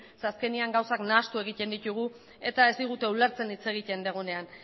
zeren azkenean gauzak nahastu egiten ditugu eta ez digute ulertzen hitz egiten dugunean